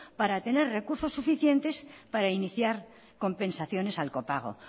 para tener recursos suficientes para iniciar compensaciones al copago